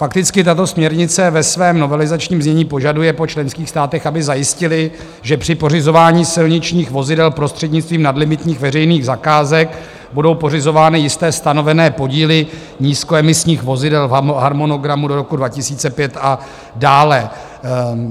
Fakticky tato směrnice ve svém novelizačním znění požaduje po členských státech, aby zajistily, že při pořizování silničních vozidel prostřednictvím nadlimitních veřejných zakázek budou pořizovány jisté stanovené podíly nízkoemisních vozidel v harmonogramu do roku 2005 a dále.